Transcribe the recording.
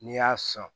N'i y'a san